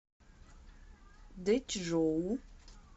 дэчжоу